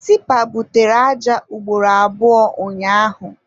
Tipa butere aja ugboro abụọ ụnyaahụ.